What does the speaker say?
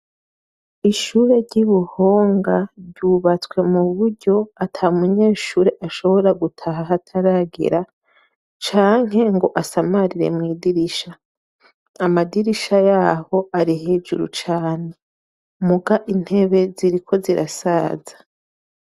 Ishure ry'Ibuhonga ryubatswe mu buryo ata munyeshuri ashobora gutaha hataragera, canke ngo asamarire mw'idirisha. Amadirisha yaho ari hejuru cane, muga intebe ziriko zirasaza.